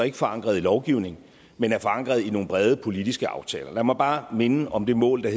er forankret i lovgivning men er forankret i nogle brede politiske aftaler lad mig bare minde om det mål der